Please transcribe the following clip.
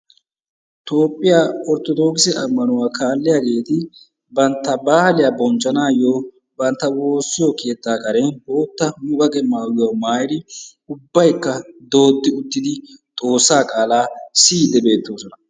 Toophiyaa Orttodokisse ammanauwa kaalliyaageeti bantta baaliya bonchchanaayyo bantta woossiyo keetta karen boottaa muqaqe maayuwa maayidi ubbaykka dooddi uttidi xoossa qaala siyyiidde beettoosona.